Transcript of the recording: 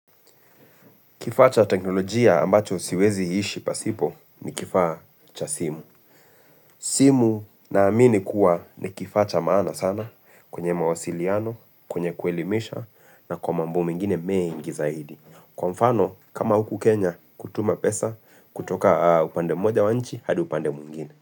Kifaa cha teknolojia ambacho siwezi ishi pasipo ni kifaa cha simu. Simu naamini kuwa ni kifaa cha maana sana kwenye mawasiliano, kwenye kuelimisha na kwa mambo mengine mengi zaidi. Kwa mfano kama huku Kenya kutuma pesa kutoka upande moja wa nchi hadi upande mwingine.